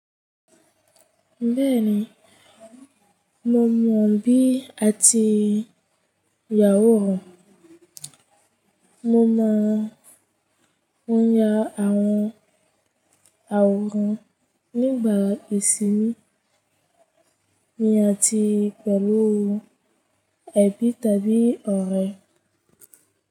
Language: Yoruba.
Bẹ́ẹ̀ni, mo mọ̀ bí àti yà awòrán, mo mọ̀ wọ́n ya àwọn àwòrán nígbà ìsinmi mi àti pẹ̀lú ẹ̀bi tàbí ọ̀rẹ́.